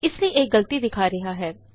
ਇਸ ਲਈ ਇਹ ਗਲਤੀ ਦਿਖਾ ਰਿਹਾ ਹੈ